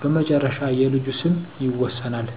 በመጨረሻ የልጁ ስም ይወሰናል።